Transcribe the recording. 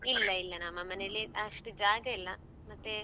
ಇಲ್ಲ ಇಲ್ಲ ನಮ್ಮ ಮನೆಯಲ್ಲಿ ಅಷ್ಟು ಜಾಗ ಇಲ್ಲ ಮತ್ತೆ.